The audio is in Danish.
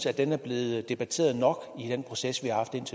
at den er blevet debatteret nok i den proces